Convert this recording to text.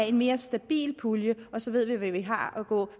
en mere stabil pulje og så ved vi hvad vi har at gå